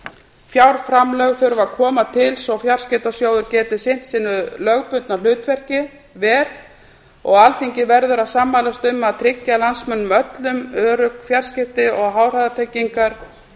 fjárframlög þurfa að koma til svo að fjarskiptasjóður geti sinnt sínu lögbundna hlutverki vel og alþingi verður að sammælast um að tryggja landsmönnum öllum örugg fjarskipti og háhraðatengingar